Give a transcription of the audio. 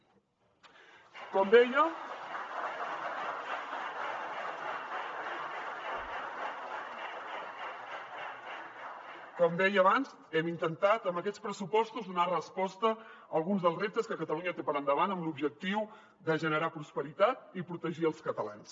com deia abans hem intentat amb aquests pressupostos donar resposta a alguns dels reptes que catalunya té per davant amb l’objectiu de generar prosperitat i protegir els catalans